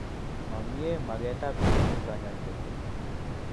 Mamie magetab kekur kanyaindet